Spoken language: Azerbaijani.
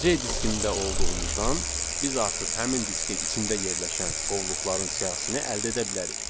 C diskinində olduğumuzdan biz artıq həmin diskin içində yerləşən qovluqların siyahısını əldə edə bilərik.